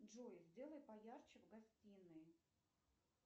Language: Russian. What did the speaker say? джой сделай поярче в гостинной